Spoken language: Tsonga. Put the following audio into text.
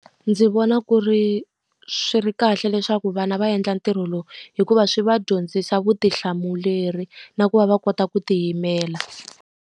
Ndzi vona ku ri swi ri kahle leswaku vana va endla ntirho lowu, hikuva swi va dyondzisa vutihlamuleri na ku va va kota ku tiyimela.